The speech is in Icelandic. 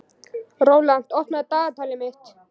Rólant, opnaðu dagatalið mitt.